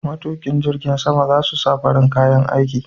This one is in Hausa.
Matuƙin jirgin sama za su sa farin kayan aiki.